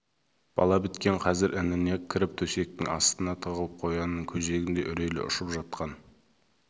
бала біткен қазір ініне кіріп төсектің астына тығылып қоянның көжегіндей үрейлері ұшып жатқан